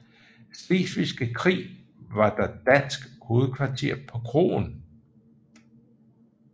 Slesvigske Krig var der dansk hovedkvarter på kroen